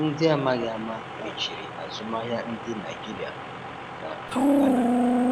Ndị amaghi ama mechiri azụmahịa ndị Naijiria um na um Ghana